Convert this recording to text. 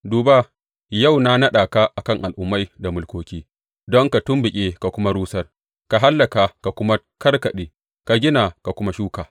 Duba, yau na naɗa ka a kan al’ummai da mulkoki don ka tumɓuke ka kuma rusar, ka hallaka ka kuma kakkaɓe, ka gina ka kuma shuka.